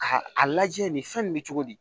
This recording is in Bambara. A a lajɛ nin fɛn nin bɛ cogo di